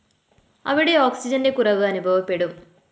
അവിടെ ഓക്സിജന്റെ കുറവ് അനുഭവപ്പെടും